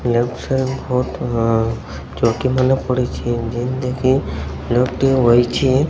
Left side ଫଟେନ ଚଉକିମାନେ ପଡ଼ିଛି। ଜିନ୍ତିକି ଲୋକ ଟିଏ ବସିଛି।